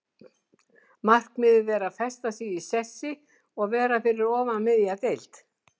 Markmiðið er að festa sig í sessi og vera fyrir ofan miðja deild.